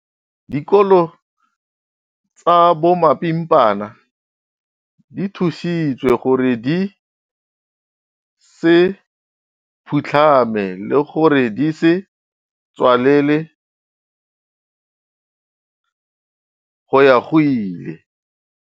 Dikolo tsa bomapimpana di thusitswe gore di se phutlhame le gore di se tswalelwe go ya go ile.